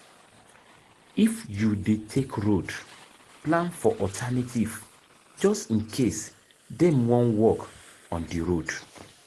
If you dey take road, plan for alternative just in case dem wan work on di road